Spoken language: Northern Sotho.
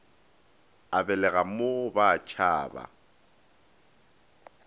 a belega mo ba tšhaba